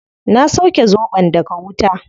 Na sauke zobon daga wuta